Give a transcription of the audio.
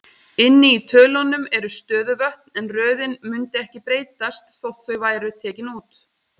Inni í tölunum eru stöðuvötn, en röðin mundi ekki breytast þótt þau væru tekin út.